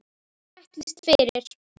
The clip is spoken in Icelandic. Hvað hún ætlist fyrir.